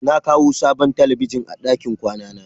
Na kawo sabon talabijin a ɗakin kwana na.